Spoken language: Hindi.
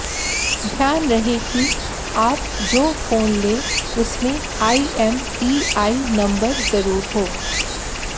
ध्यान रहे कि आप जो फोन लें उसमें आईएमईआई नंबर जरुर हो